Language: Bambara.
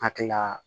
Hakilila